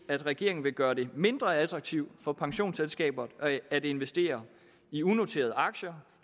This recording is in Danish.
at regeringen vil gøre det mindre attraktivt for pensionsselskaber at investere i unoterede aktier